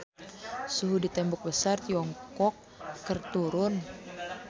Suhu di Tembok Besar Tiongkok keur turun